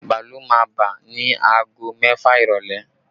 Bàálù máa bà ni aago mẹ́fà ìrọ́lẹ́